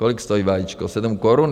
Kolik stojí vajíčko, 7 korun?